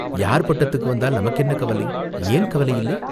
யார் பட்டத்துக்கு வந்தால் நமக்கு என்ன கவலை?" "ஏன் கவலை இல்லை?